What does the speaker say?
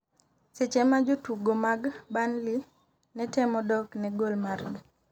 seche ma jotugo mag Burnley ne temo dok ne gol margi